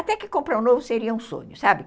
Até que comprar um novo seria um sonho, sabe?